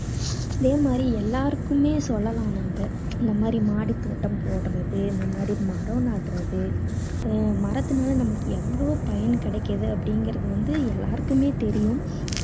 அதே மாதிரி எல்லாருக்குமே சொல்லலாம் நம்ம. இந்த மாதிரி மாடித்தோட்டம் போடறது, இந்த மாதிரி மரம் நடறது, அஹ் மரத்துனால நமக்கு எவ்வளோ பயன் கிடைக்குது அப்படீங்கறது வந்து நம்ம எல்லாருக்குமே தெரியும்.